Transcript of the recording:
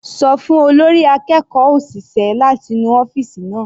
Ṣọ fún olórí akẹ́kọ̀ọ́ òṣìṣẹ́ láti nu ọ́fìsì náà.